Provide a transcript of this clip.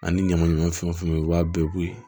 Ani ɲamanɲaman fɛnw fɛn u b'a bɛɛ bo yen